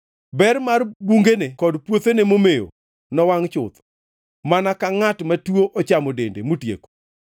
Ber mar bungene kod puothene momewo, nowangʼ chuth, mana ka ngʼat matuo ochamo dende motieko.